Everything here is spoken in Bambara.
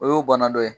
O y'o bana dɔ ye